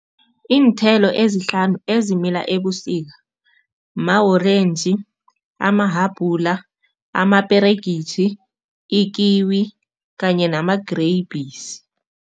Iinthelo ezihlanu ezimila ebusika, ma-orentji, amahabhula, amaperegitjhi, ikiwi kanye namagrebhisi.